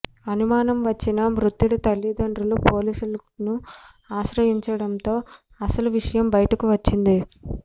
అనుమానం వచ్చిన మృతుడి తల్లిదండ్రులు పోలీసులను ఆశ్రయించడంతో అసలు విషయం బయటకు వచ్చింది